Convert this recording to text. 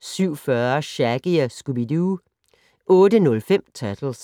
07:40: Shaggy & Scooby-Doo 08:05: Turtles